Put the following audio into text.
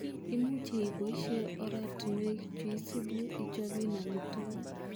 Imuche iboishe oratinwek chuisibu ichoben amitwogik.